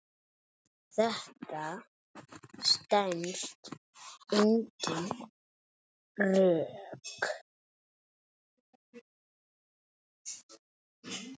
Þetta stenst engin rök.